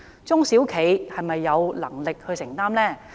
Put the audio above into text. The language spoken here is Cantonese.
中小企是否有能力承擔呢？